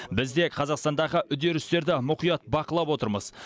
біз де қазақстандағы үдерістерді мұқият бақылап отырмыз